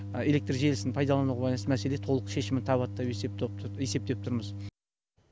электр желісін пайдалануға байланысты мәселе толық шешімін табады деп есептеп тұрмыз